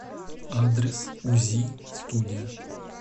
адрес узи студия